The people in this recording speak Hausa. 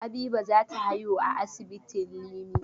Habiba za ta haihu a asibitin Limi.